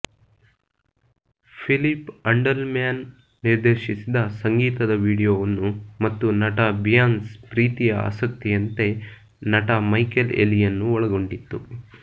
Philip Andelman ನಿರ್ದೇಶಿಸಿದ ಸಂಗೀತದ ವೀಡಿಯೊವನ್ನು ಮತ್ತು ನಟ ಬಿಯಾನ್ಸ್ ಪ್ರೀತಿಯ ಆಸಕ್ತಿಯಂತೆ ನಟ ಮೈಕೆಲ್ ಎಲಿಯನ್ನು ಒಳಗೊಂಡಿತ್ತು